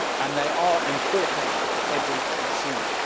They are important for every consumer.